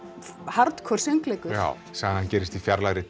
hardcore söngleikur já sagan gerist í fjarlægri